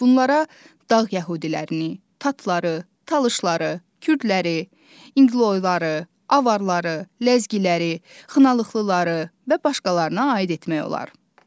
Bunlara dağ yəhudilərini, tatları, talışları, kürdləri, inqloyları, avarları, ləzgiləri, xınalıqlıları və başqalarına aid etmək olar.